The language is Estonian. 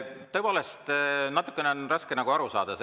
Tõepoolest, sellest on natukene raske aru saada.